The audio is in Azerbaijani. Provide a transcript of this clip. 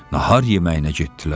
nahar yeməyinə getdilər.